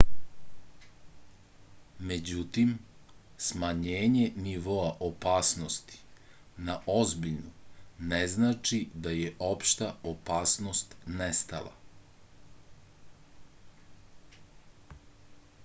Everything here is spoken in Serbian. međutim smanjenje nivoa opasnosti na ozbiljnu ne znači da je opšta opasnost nestala